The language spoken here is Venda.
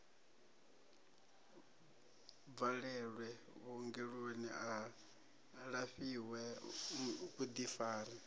bvalelwe vhuongeloni a lafhiwe vhuḓifari